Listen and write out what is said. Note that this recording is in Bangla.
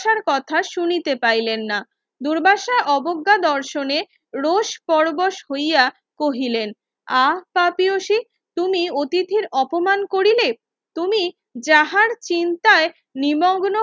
কথা শুনিতে পাইলেন না দুর্বাসা অবজ্ঞা দর্শনে রোষ পরবশ হইয়া কহিলেন আপটিয়সী তুমি অথিতির অপমান করিলে তুমি যাহার চিন্তায় নিমগ্ন